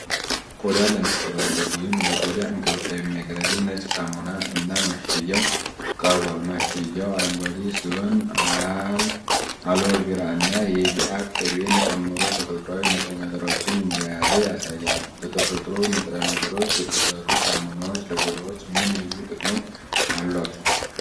ቆዳን ለመንከባከብ (ለቆዳ እንክብካቤ) የሚያገለግል ነጭ ሳሙና እና ማሸጊያው ቀርቧል። ማሸጊያው አረንጓዴ ሲሆን አልዎ ቬራ እና የሺአ ቅቤን ጨምሮ ተፈጥሯዊ ንጥረ ነገሮችን እንደያዘ ያሳያል። በተፈጥሮ ንጥረ ነገሮች የተሰሩ ሳሙናዎች ለቆዳችን ምን ልዩ ጥቅሞች አሏቸው?